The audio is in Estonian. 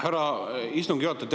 Härra istungi juhataja!